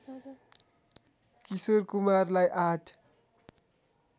किशोर कुमारलाई आठ